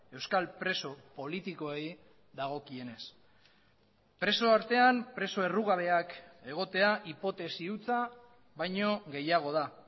euskal preso politikoei dagokienez preso artean preso errugabeak egotea hipotesi hutsa baino gehiago da